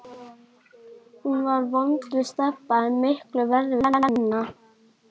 Hún var vond við Stebba, en miklu verri við Benna.